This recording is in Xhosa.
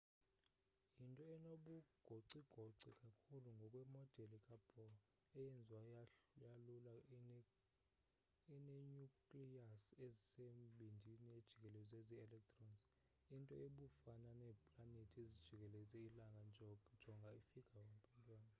yinto enobugocigoci kakhulu ngokwemodel kabohr eyenziwe yalula inenyukliyasi esembindini ejikelezwa zi-electrons into ebufana neeplanethi ezijikeleza ilanga jonga ifigure 1.1